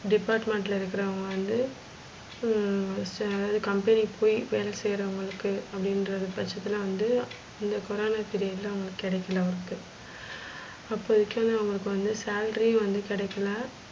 department ல இருக்குறவுங்க வந்து ஹம் company க்கு போயி வேல செய்றவங்களுக்கு அப்டின்றது பச்சத்துல வந்து இந்த கொரான period ல கெடைக்கல, work அப்போதிக்கு வந்து அவுங்களுக்கு வந்து salary வந்து கெடைக்கல.